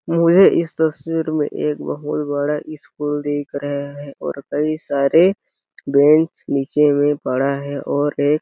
मुझे इस तस्वीर में एक बहुत बड़ा स्कूल दिख रहा है और कई सारे बेंच निचे में पड़ा है और एक --